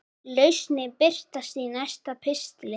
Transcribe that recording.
Lausnir birtast í næsta pistli.